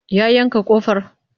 Ya yanka ƙofar?